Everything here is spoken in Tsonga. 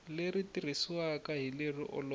leri tirhisiwaka hi lero olova